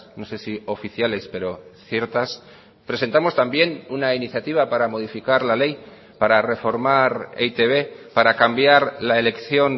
no sé si oficiales pero ciertas presentamos también una iniciativa para modificar la ley para reformar e i te be para cambiar la elección